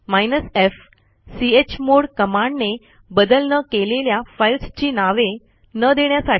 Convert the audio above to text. hyphen f chmod कमांडने बदल न केलेल्या फाईल्सची नावे न देण्यासाठी